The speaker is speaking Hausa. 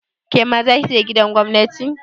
Kema zaki je gidan gwamnati?